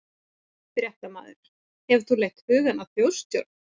Fréttamaður: Hefur þú leitt hugann að þjóðstjórn?